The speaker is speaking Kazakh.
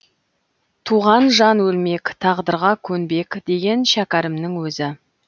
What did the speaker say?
туған жан өлмек тағдырға көнбек деген шәкәрімнің өзі